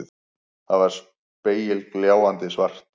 Það var spegilgljáandi svart.